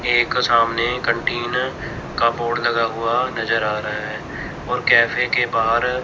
एक सामने कैंटीन का बोर्ड लगा हुआ नजर आ रहा है और कैफे के बाहर--